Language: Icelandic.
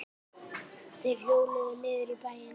Þeir hjóluðu niður í bæinn.